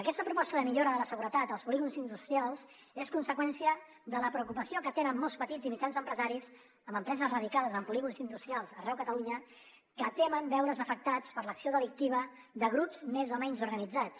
aquesta proposta de millora de la seguretat als polígons industrials és conseqüència de la preocupació que tenen molts petits i mitjans empresaris amb empreses radicades en polígons industrials arreu de catalunya que temen veure’s afectats per l’acció delictiva de grups més o menys organitzats